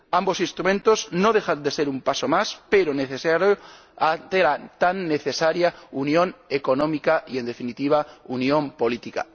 Ambos instrumentos no dejan de ser un paso más, pero necesario, ante la tan necesaria unión económica y, en definitiva, unión política.